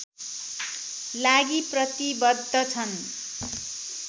लागि प्रतिवद्ध छन्